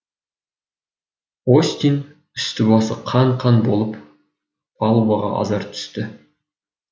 остин үсті басы қан қан болып палубаға азар түсті